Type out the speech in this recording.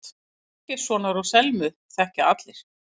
Ásgeirssonar og Selmu þekkja allir.